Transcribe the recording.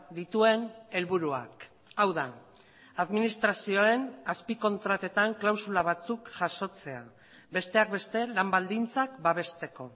dituen helburuak hau da administrazioen azpikontratetan klausula batzuk jasotzea besteak beste lan baldintzak babesteko